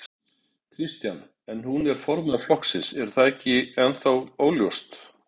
Kristján: En hún er formaður flokksins, er það ennþá óljóst?